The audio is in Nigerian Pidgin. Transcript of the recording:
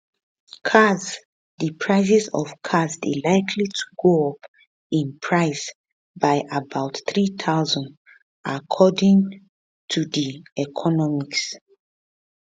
cars di prices of cars dey likely to go up in price by about 3000 according to td economics